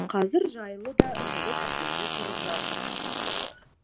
қазір жайлы да жылы пәтерде тұрып жатыр